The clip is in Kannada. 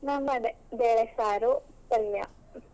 ನಂಗೂ ಅದೇ ಬೇಳೆ ಸಾರು ಪಲ್ಯ.